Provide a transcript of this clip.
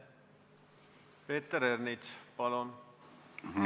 Peeter Ernits, palun!